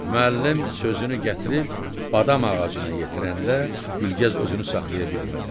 Müəllim sözünü gətirib badam ağacına yetirəndə Gülgəz özünü saxlaya bilmədi.